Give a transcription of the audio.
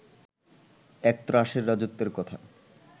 এক ত্রাসের রাজত্বের কথা